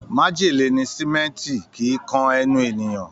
Májèlé ni símẹ́ǹtì, kìí kan ẹnu ènìyàn